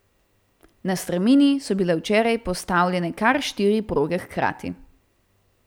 Na strmini so bile včeraj postavljene kar štiri proge hkrati.